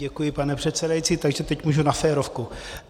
Děkuji, pane předsedající, takže teď můžu na férovku.